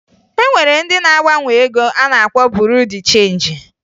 E nwere ndị na-agbanwe ego a na-akpọ Buru Di Chenji